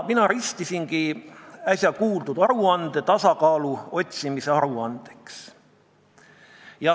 Mina ristisin äsja kuuldud aruande tasakaalu otsimise aruandeks.